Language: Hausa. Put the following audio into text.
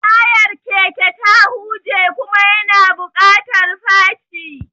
Tayar keke ta huje kuma yana buƙatar faci.